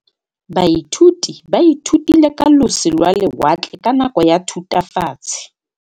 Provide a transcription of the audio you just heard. Baithuti ba ithutile ka losi lwa lewatle ka nako ya Thutafatshe.